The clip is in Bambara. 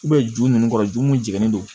ju ninnu kɔrɔ ju mun jeni don